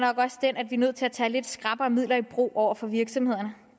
nødt til at tage lidt skrappere midler i brug over for virksomhederne